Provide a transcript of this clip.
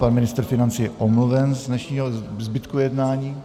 Pan ministr financí je omluven z dnešního zbytku jednání.